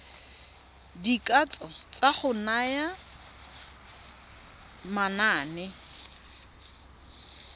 dikatso tsa go naya manane